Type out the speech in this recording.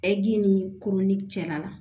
Egi ni kurunin cɛla la